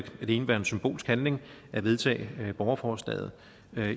indebære en symbolsk handling at vedtage borgerforslaget